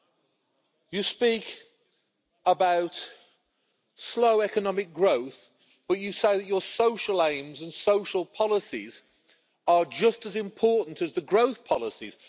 We hear about slow economic growth, but you say that your social aims and social policies are just as important as the growth policies.